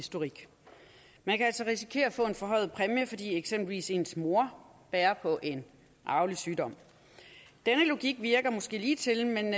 historik man kan altså risikere at få en forhøjet præmie fordi eksempelvis ens mor bærer på en arvelig sygdom denne logik virker måske ligetil men